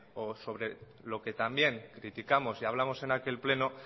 o sobre lo que también criticamos y hablamos en aquel pleno